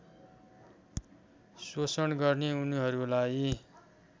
शोषण गर्ने उनीहरूलाई